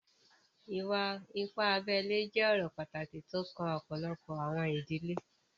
Ìwà-ìpà àbèlè jẹ̀ ọ̀rọ̀ pátákì tó o kàn ọpọlọ́pọ̀ àwọn ìdílé.